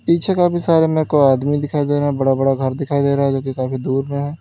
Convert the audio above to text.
पीछे काफी सारे में कोई आदमी दिखाई दे रहा है बड़ा बड़ा घर दिखाई दे रहा है जो कि काफी दूर में है।